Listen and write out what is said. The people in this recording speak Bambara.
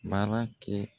Baara kɛ